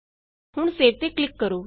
ਹੁਣ ਸੇਵ ਤੇ ਕਲਿਕ ਕਰੋ